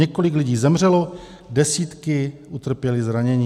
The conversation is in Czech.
Několik lidí zemřelo, desítky utrpěly zranění.